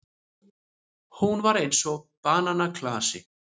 Hún var eins og bananaklasi.